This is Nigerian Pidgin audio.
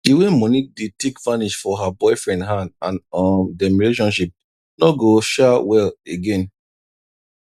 d way moni dey take vanish for her boyfriend hand and um dem relationship no go um well again